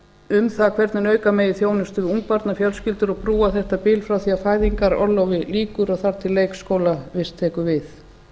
um það hvernig auka megi þjónustu við ungbarnafjölskyldur og brúa þetta bil frá því að fæðingarorlofi lýkur og leikskólavist tekur við